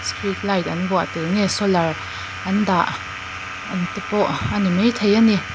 street light an vuah tel nge solar an dah an te pawh a ni mai thei a ni.